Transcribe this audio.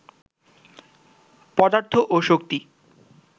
পদার্থ ও শক্তি